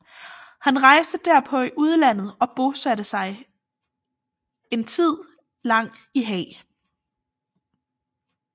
Han rejste derpå i udlandet og bosatte sig en tid lang i Haag